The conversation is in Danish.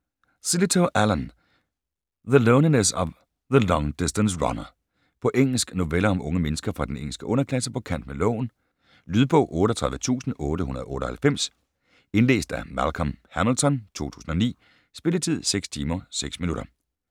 Sillitoe, Alan: The loneliness of the long distance runner På engelsk. Noveller om unge mennesker fra den engelske underklasse på kant med loven. Lydbog 38898 Indlæst af Malcolm Hamilton, 2009. Spilletid: 6 timer, 6 minutter.